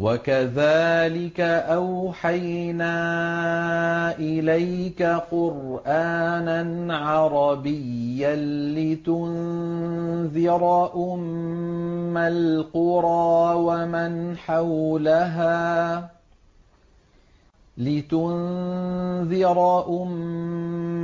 وَكَذَٰلِكَ أَوْحَيْنَا إِلَيْكَ قُرْآنًا عَرَبِيًّا لِّتُنذِرَ أُمَّ